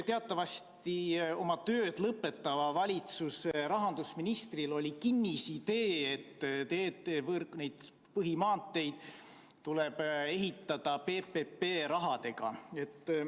Teatavasti oli oma tööd lõpetava valitsuse rahandusministril kinnisidee, et teedevõrku, neid põhimaanteid, tuleb ehitada PPP rahadega.